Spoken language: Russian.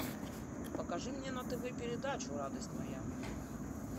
покажи мне на тв передачу радость моя